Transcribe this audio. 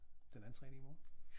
Den anden træning i morgen